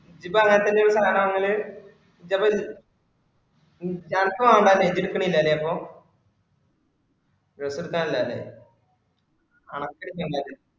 ഇജ്ജ് ഇപ്പൊ അങ്ങനെ തന്നെ കാണാവരല് ഇജ്ജ് അപ്പൊ, confirm ആണ് അല്ലെ ഇജ്ജ് എടുക്കണില്ല അല്ലെ അപ്പൊ dress എടുക്കാനില്ല അല്ലെ